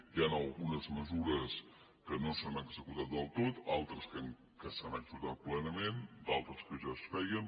hi han algunes mesures que no s’han executat del tot altres que s’han executat plenament d’altres que ja es feien